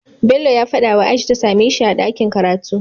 Bello ya fada wa aisha ta sameshi a dakin karatu